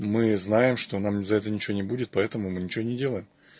мы знаем что нам за это ничего не будет поэтому мы ничего и не делаем